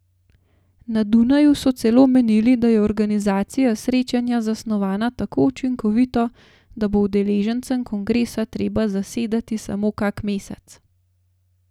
Na Dunaju so celo menili, da je organizacija srečanja zasnovana tako učinkovito, da bo udeležencem kongresa treba zasedati samo kak mesec!